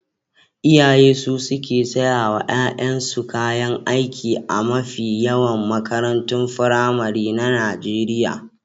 Iyaye su suke saya wa ƴaƴansu kayan aiki a mafi yawan makarantun firamare na Najeriya.